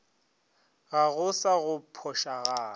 ga go sa go phošagala